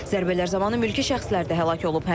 Zərbələr zamanı mülki şəxslər də həlak olub.